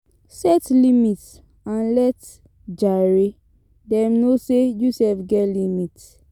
Set limit and let um dem know sey you sef get limit